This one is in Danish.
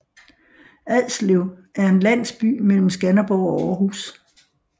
Adslev er en landsby mellem Skanderborg og Aarhus